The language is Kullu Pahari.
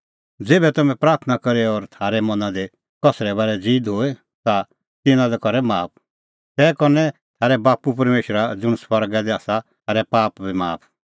ज़ेभै तम्हैं प्राथणां करे और थारै मना दी कसरै बारै ज़ीद होए ता तिन्नां लै करै माफ तै करनै थारै बाप्पू परमेशरा ज़ुंण स्वर्गा दी आसा थारै पाप बी माफ